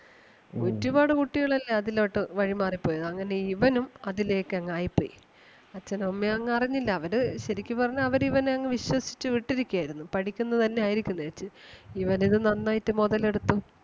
ഒരുപാട് കുട്ടികളല്ലെ അതിലോട്ട് വഴിമാറി പോയത്. അങ്ങനെ ഇവനും അതിലേക്ക് അങ്ങ് ആയി പോയി അച്ഛനും അമ്മയും ഒന്നും അറിഞ്ഞില്ല അവര് ശെരിക്കും പറഞ്ഞ അവര് ഇവനെ അങ്ങ് വിശ്വസിച്ചു വിട്ടിരിക്കുകയായിരുന്നു. പഠിക്കുന്ന തന്നെ ആയിരിക്കും എന്ന് വെച്ച്‌ ഇവൻ ഇത് നന്നായിട്ട് മൊതലെടുത്തു.